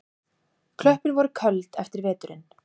Klöppin var köld eftir veturinn.